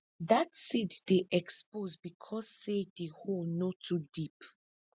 dat seed dey expose because say di hole no too deep